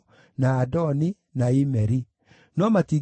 Andũ acio othe marĩ hamwe maarĩ 42,360,